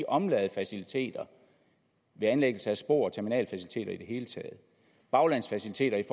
omladefaciliteter ved anlæggelse af spor terminalfaciliteter i og baglandsfaciliteter i